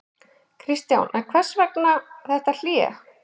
Kristján: En hvers vegna þetta hlé?